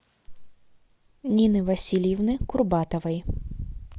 нины васильевны курбатовой